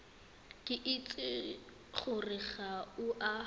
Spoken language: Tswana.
itse gore ga o a